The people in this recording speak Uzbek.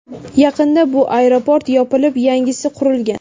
Yaqinda bu aeroport yopilib, yangisi qurilgan.